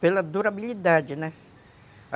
Pela durabilidade, né?